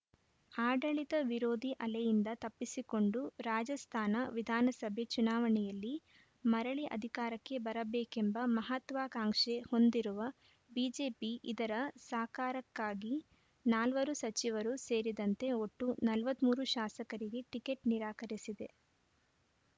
ಆಡಳಿತ ವಿರೋಧಿ ಅಲೆಯಿಂದ ತಪ್ಪಿಸಿಕೊಂಡು ರಾಜಸ್ಥಾನ ವಿಧಾನಸಭೆ ಚುನಾವಣೆಯಲ್ಲಿ ಮರಳಿ ಅಧಿಕಾರಕ್ಕೆ ಬರಬೇಕೆಂಬ ಮಹತ್ವಾಕಾಂಕ್ಷೆ ಹೊಂದಿರುವ ಬಿಜೆಪಿ ಇದರ ಸಾಕಾರಕ್ಕಾಗಿ ನಾಲ್ವರು ಸಚಿವರು ಸೇರಿದಂತೆ ಒಟ್ಟು ನಲವತ್ತ್ ಮೂರು ಶಾಸಕರಿಗೆ ಟಿಕೆಟ್‌ ನಿರಾಕರಿಸಿದೆ